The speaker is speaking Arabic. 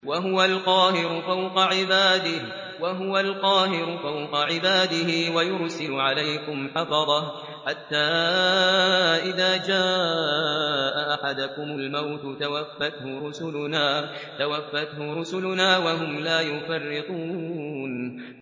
وَهُوَ الْقَاهِرُ فَوْقَ عِبَادِهِ ۖ وَيُرْسِلُ عَلَيْكُمْ حَفَظَةً حَتَّىٰ إِذَا جَاءَ أَحَدَكُمُ الْمَوْتُ تَوَفَّتْهُ رُسُلُنَا وَهُمْ لَا يُفَرِّطُونَ